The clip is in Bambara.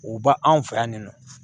U ba anw fɛ yan nin nɔ